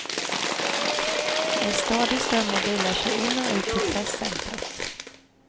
En stadig ström av bilar kör in och ut på på presscentrat.